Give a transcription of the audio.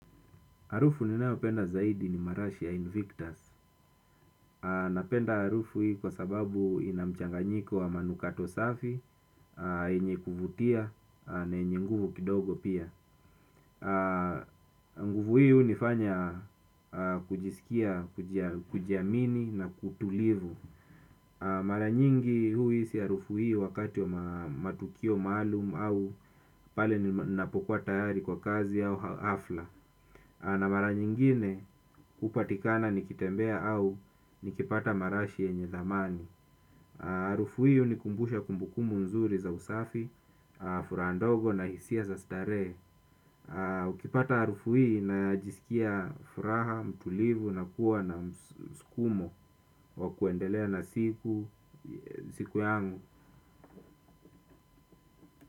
Harufu ninayopenda zaidi ni marashi ya invictus. Napenda harufu hii kwa sababu ina mchanganyiko wa manukato safi, yenye kuvutia, na yenye nguvu kidogo pia. Nguvu hii hunifanya kujisikia, kujiamini na kutulivu. Mara nyingi huhisi harufu hii wakati wa matukio maalum au pale ninapokuwa tayari kwa kazi au hafla. Na mara nyingine hupatikana nikitembea au nikipata marashi yenye zamani. Harufu hii hunikumbusha kumbukumu nzuri za usafi, furaha ndogo na hisia za starehe. Ukipata harufu hii najisikia furaha, mtulivu na kuwa na msukumo wa kuendelea na siku yangu.